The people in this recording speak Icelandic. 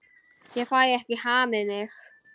Ég fæ ekki hamið mig.